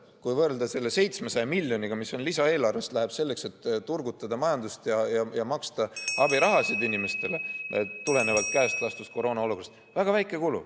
Kui võrrelda selle 700 miljoniga, mis lisaeelarvest läheb selleks, et turgutada majandust ja maksta abirahasid inimestele, tulenevalt käest lastud koroonaolukorrast, siis see on väga väike kulu.